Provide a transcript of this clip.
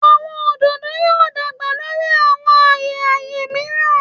Awọn ododo yoo dagba lori awọn aye aye miiran